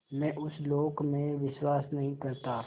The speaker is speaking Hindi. मैं उस लोक में विश्वास नहीं करता